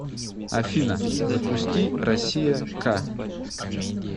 афина запусти россия к